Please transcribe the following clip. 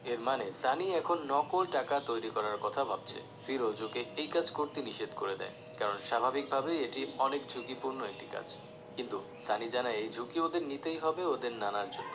এর মানে সানি এখন নকল টাকা তৈরি করার কথা ভাবছে ফিরোজ ওকে এই কাজ করতে নিষেধ করে দেয় কারণ স্বাভাবিক ভাবে এটি অনেক ঝুঁকিপূর্ন একটি কাজ কিন্তু সানি জানায় এই ঝুঁকি ওদের নিতেই হবে ওদের নানার জন্য